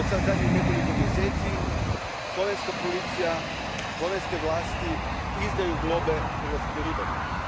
Zadnjih nekoliko mjeseci slovenska policija, slovenske vlasti, izdaju globe hrvatskim ribarima.